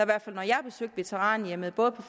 hvert fald når jeg har besøgt veteranhjemmene både på